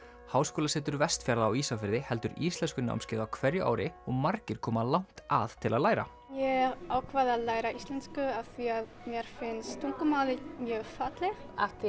háskólasetur Vestfjarða á Ísafirði heldur íslenskunámskeið á hverju ári og margir koma langt að til að læra ég ákvað að læra íslensku af því að mér finnst tungumálið mjög fallegt